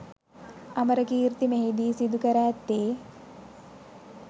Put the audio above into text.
අමරකීර්ති මෙහි දී සිදු කර ඇත්තේ